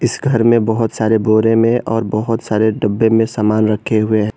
इस घर मे बहोत सारे बोरे में और बहोत सारे डब्बे में समान रखे हुए है।